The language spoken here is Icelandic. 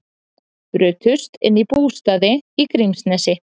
Brutust inn í bústaði í Grímsnesi